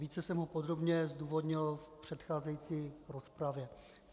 Více jsem ho podrobně zdůvodnil v předcházející rozpravě.